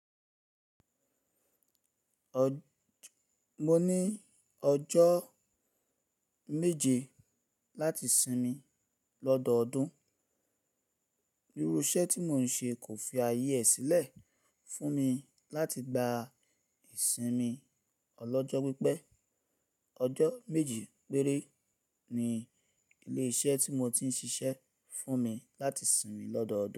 Ọ̀, mo ní ọjọ́ méje láti sinmi lọ́dọọdún. Irú iṣẹ́ tí mò ń ṣe kò fi ayé ee sílẹ̀ fún mi láti gba ìsinmi ọlọ́jọ́ pípẹ́. Ọjọ́ méje péré ni ilé iṣẹ́ tí mo ti ń ṣiṣẹ́ fún mi láti sinmi lọ́dọọdún.